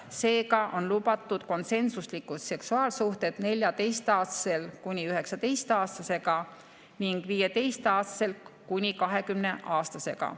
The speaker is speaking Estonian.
Seega on lubatud konsensuslikud seksuaalsuhted 14‑aastasel kuni 19‑aastasega ning 15‑aastasel kuni 20‑aastasega.